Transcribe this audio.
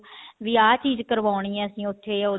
ਵੀ ਆਹ ਚੀਜ਼ ਕਰਵਾਉਣੀ ਆ ਅਸੀਂ ਉੱਥੇ